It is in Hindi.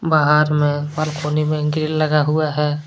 बाहर में बालकनी में ग्रील लगा हुआ है।